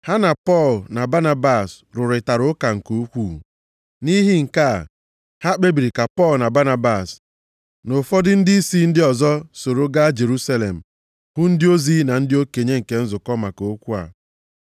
Ha na Pọl na Banabas rụrịtara ụka nke ukwuu. Nʼihi nke a, ha kpebiri ka Pọl na Banabas, na ụfọdụ ndịisi ndị ọzọ soro gaa Jerusalem hụ ndị ozi na ndị okenye nke nzukọ maka okwu a.